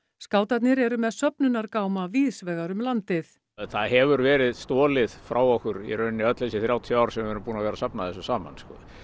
skátarnir eru með víðsvegar um landið það hefur verið stolið frá okkur öll þessi þrjátíu ár sem við höfum verið að safna þessu saman